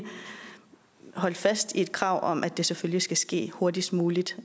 holdt fast i et krav om at det selvfølgelig skal ske hurtigst muligt